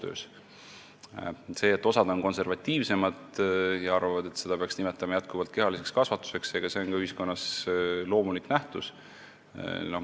Ega see, et osa on konservatiivsemad ja arvavad, et seda peaks jätkuvalt kehaliseks kasvatuseks nimetama, on ka loomulik nähtus ühiskonnas.